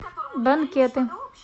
банкеты